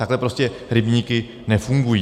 Takhle prostě rybníky nefungují.